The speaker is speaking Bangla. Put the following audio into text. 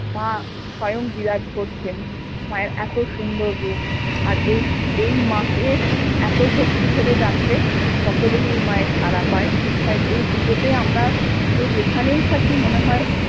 মা স্বয়ং বিরাজ করছেন মা এর এত সুন্দর রূপ আর এই মা কে এত ভক্তি ভরে ডাকলে সকলেই এই মা এর সারা পায়ে তাই এই পূজোতে আমরা যে যেখানেই থাকি মনে হয়